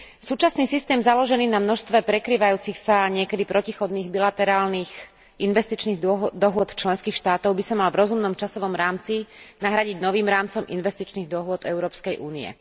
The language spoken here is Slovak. Súčasný systém založený na množstve prekrývajúcich sa niekedy protichodných bilaterálnych investičných dohôd členských štátov by sa mal v rozumnom časovom rámci nahradiť novým rámcom investičných dohôd Európskej únie.